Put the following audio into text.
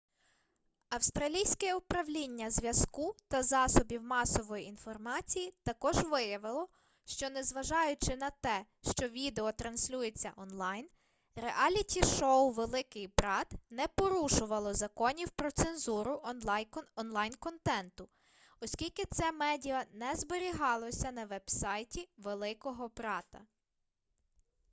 австралійське управління зв'язку та засобів масової інформації також виявило що незважаючи на те що відео транслюється онлайн реаліті-шоу великий брат не порушувало законів про цензуру онлайн-контенту оскільки це медіа не зберігалося на веб-сайті великого брата